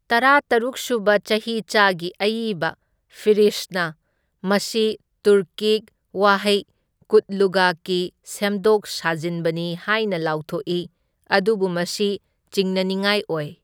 ꯇꯔꯥꯇꯔꯨꯛ ꯁꯨꯕ ꯆꯍꯤꯆꯥꯒꯤ ꯑꯏꯕ ꯐꯤꯔꯤꯁꯠꯅ ꯃꯁꯤ ꯇꯨꯔꯀꯤꯛ ꯋꯥꯍꯩ ꯀꯨꯠꯂꯨꯒꯀꯤ ꯁꯦꯝꯗꯣꯛ ꯁꯥꯖꯤꯟꯕꯅꯤ ꯍꯥꯏꯅ ꯂꯥꯎꯊꯣꯛꯏ, ꯑꯗꯨꯕꯨ ꯃꯁꯤ ꯆꯤꯡꯅꯅꯤꯡꯉꯥꯏ ꯑꯣꯏ꯫